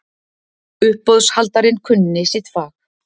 Uppboðshaldarinn kunni sitt fag.